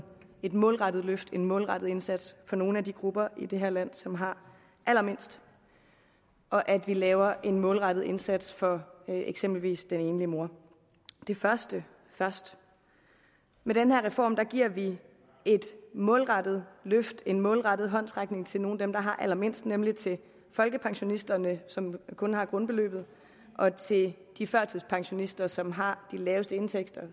målrettet løft en målrettet indsats for nogle af de grupper i det her land som har allermindst og at vi laver en målrettet indsats for eksempelvis den enlige mor det første først med den her reform giver vi et målrettet løft en målrettet håndsrækning til nogle af dem der har allermindst nemlig til folkepensionisterne som kun har grundbeløbet og til de førtidspensionister som har de laveste indtægter